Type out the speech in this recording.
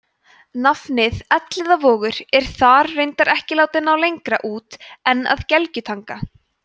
nafnið elliðavogur er þar reyndar ekki látið ná lengra út en að gelgjutanga